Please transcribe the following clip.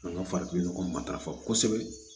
An ka farafinnɔgɔn matarafa kosɛbɛ